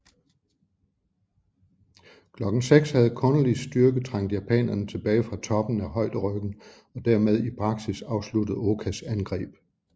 Klokken 6 havde Conoleys styrke trængt japanerne tilbage fra toppen af højderyggen og dermed i praksis afsluttet Okas angreb